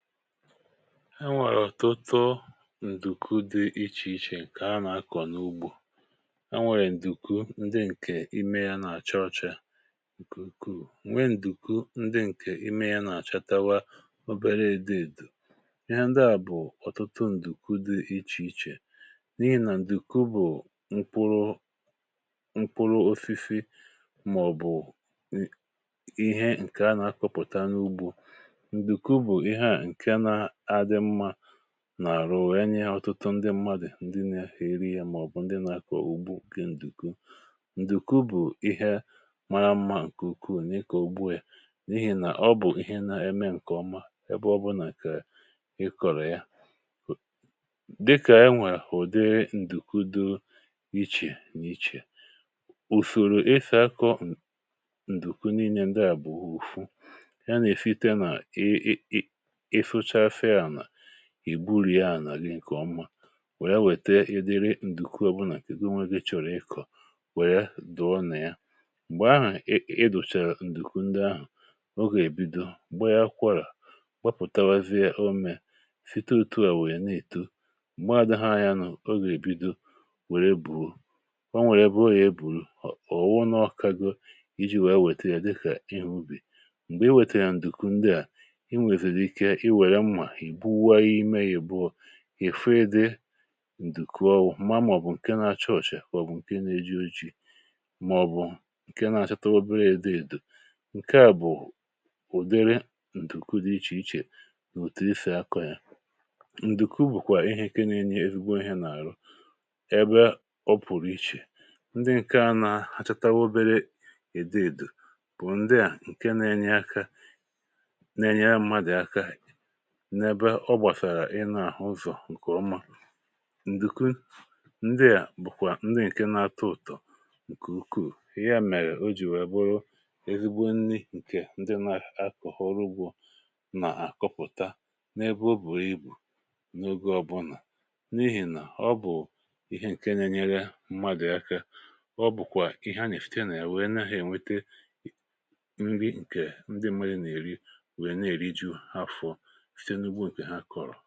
e nwèrè ọ̀tụtụ ǹdùku dị ichèichè ǹkè ha nà-akọ̀ n’ugbȯ ha, nwèrè ǹdùku ndị ǹkè ime yȧ nà-àcha ọcha ǹkùku̇, nweè ǹdùku ndị ǹkè ime yȧ nà-àchatawa obere redinated, ihe ndị à bụ̀ ọ̀tụtụ ǹdùku dị ichèichè n’ihì nà ǹdùku bụ̀ ṅkpụrụ ṅkpụrụ ȯfi̇fi̇ mà ọ̀ bụ̀ ihe ǹkè ha nà-akọ̇pụ̀ta n’ugbȯ nà-àrụ wèe nye ọtụtụ ndị mmadụ̀, ndị nȧ-ėri yȧ màọ̀bụ̀ ndị nà-akọ̀ ọ̀gbu gi ǹdùku. ǹdùku bụ̀ ihe mara mmȧ ǹkè ukwu n’ịkọ̇ ugbuė n’ihì nà ọ bụ̀ ihe nà-eme ǹkèọma ebe ọbụlà kà ị kọ̀rọ̀ ya, dịkà enwèrè ùde ǹdùku dị ichè n’ichè ùfèrè ifè akọ ǹdùku n’inyė ndị à bụ̀rụ̀ u̇fu ì gburuya nà gị ǹkèọ mmȧ wèe anwète ịdịrị ǹdùku ọbụlà, ego nweghị chọ̀rọ̀ ịkọ̀ wèe dụọ nà ya. m̀gbè ahụ̀ ị dụ̀chàrà ǹdùku ndị ahụ̀, ogè bido m̀gbè ya kwọrà gbapụ̀tawa, zi ya omė site òtuà wèe na-ètu m̀gbè a dị haa ya nụ̇. ogè èbido wère bù o nwèrè bụ̀ ogè e bùrù ọ̀ wụnụ ọkago iji̇ wèe weta ya dịkà ihe ubì. m̀gbè i wète ya ǹdùku ndị à, ì buwaghɪ imė, yì buo ì fa nde ǹdùkwu ọwu̇ maa màọbụ̀ ǹke na-achọọchị̀ àkwà bụ̀ ǹke na-eji̇ uchè màọbụ̀ ǹke na-àchọtà obere èdeèdù, ǹke à bụ̀ ụ̀dere ǹdùkwu dị ichèichè n’ụ̀tụrụ ifè akọ̇ yȧ. ǹdùkwu bụ̀kwà ihe eke na-enye egwu ihė n’àrụ, ọ pụ̀rụ̀ ichè ndị ǹke a nȧ hachatawa obere èdeèdù bụ̀ ndị à ǹke na-enye àka na-enye ya mmadụ̀ aka n’ebe ọ gbàsàrà. ị na-àhụ ụzọ̀ ǹkè ọma, ǹdùkwu ndịà bụ̀kwà ndị ǹke na-atọ ụ̀tọ̀ ǹkè ukwuù. ihe à mèrè o jì wee bụrụ ezigbo nni ǹkè ndị na-akọ̀ ọrụgwụ̇ nà-àkọpụ̀ta n’ebe ọ bùrù ibù n’oge ọbụlà n’ihì nà ọ bụ̀ ihe ǹke nyere mmadù aka, ọ bụ̀kwà ihe a nà-èfute nà ya wèe na-ènwete ndị ǹkè ndị mmadụ̀ nà-èri wèe na-èri ju afọ. ǹkè ọ bụ̀ ihe dị̀ n’àlà nà-ẹ̀mẹ̀ghi̇ ihe dị̇ n’àlà nà-ẹ̀mẹ̀ghi̇ ihe dị̀ n’ẹ̀mẹ̀ghi̇.